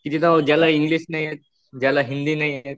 कि जिथं ज्यांना इंग्लिश नाही येत, ज्यांना हिंदी नाही येत